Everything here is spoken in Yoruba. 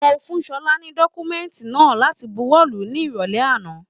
Mo fún Ṣọlá ni dọkumẹ̀ntí náà láti bùwọ́lù ní irọlẹ àna.